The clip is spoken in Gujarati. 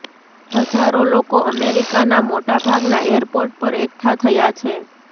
હજારો લોકો અમેરિકાના મોટા ભાગના એરપોર્ટ પર એકઠા થયા છે